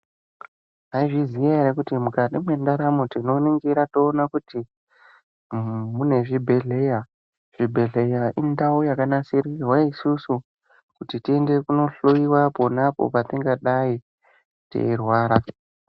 Maizviziya here kuti mukati mwendaramo tinoningira toona kuti mune zvibhehleya zvibhedhlera indau yakanasirwa isusu kuti tiende kunohloyiwa pona apo patingadi teyi rwara.